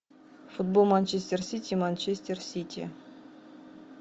футбол манчестер сити и манчестер сити